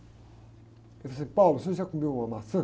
Ele falou assim, você já comeu uma maçã?